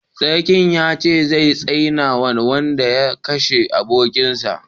Sarki ya ce zai tsine ma wanda ya kashe abokin sa